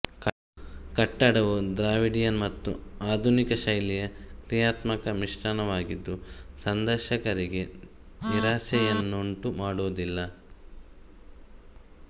ಕಟ್ಟಡವು ದ್ರಾವಿಡಿಯನ್ ಮತ್ತು ಆಧುನಿಕ ಶೈಲಿಯ ಕ್ರಿಯಾತ್ಮಕ ಮಿಶ್ರಣವಾಗಿದ್ದು ಸಂದರ್ಶಕರಿಗೆ ನಿರಾಸೆಯನ್ನುಂಟು ಮಾಡುವುದಿಲ್ಲ